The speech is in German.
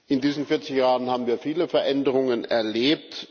In diesen 40 Jahren haben wir viele Veränderungen erlebt.